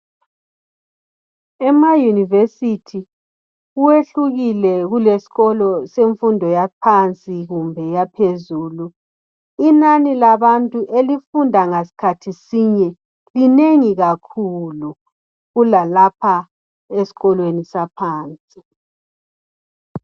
Ema yunevesiti kwehlukile kuleskolo semfundo yaphansi kumbe eyaphezulu. Inani labantu elifunda ngasikhathi sinye, linengi kakhulu kulalapha esikolweni saphansi.